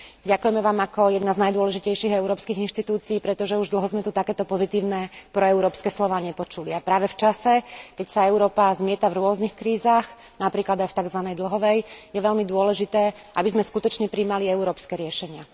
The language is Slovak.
Ďakujeme vám ako jedna z najdôležitejších európskych inštitúcií, pretože už dlho sme tu takéto pozitívne proeurópske slová nepočuli, a práve v čase, keď sa Európa zmieta v rôznych krízach, napríklad aj v takzvanej dlhovej, je veľmi dôležité, aby sme skutočne prijímali európske riešenia.